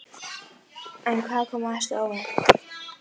Mér þótti að eins gaman að kvenfólki vegna kynsins.